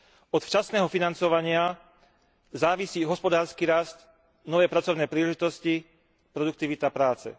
Od včasného financovania závisí hospodársky rast, nové pracovné príležitosti, produktivita práce.